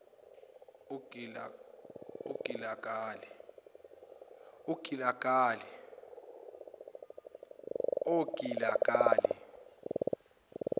ogilagali